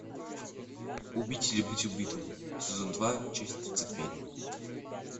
убить или быть убитым сезон два часть тридцать пять